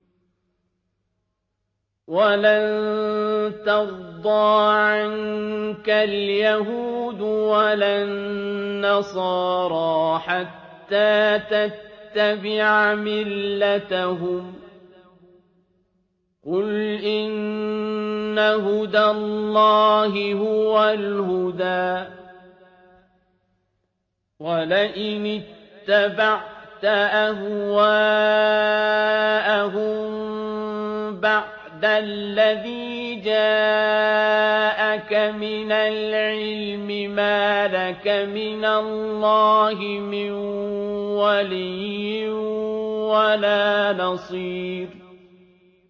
وَلَن تَرْضَىٰ عَنكَ الْيَهُودُ وَلَا النَّصَارَىٰ حَتَّىٰ تَتَّبِعَ مِلَّتَهُمْ ۗ قُلْ إِنَّ هُدَى اللَّهِ هُوَ الْهُدَىٰ ۗ وَلَئِنِ اتَّبَعْتَ أَهْوَاءَهُم بَعْدَ الَّذِي جَاءَكَ مِنَ الْعِلْمِ ۙ مَا لَكَ مِنَ اللَّهِ مِن وَلِيٍّ وَلَا نَصِيرٍ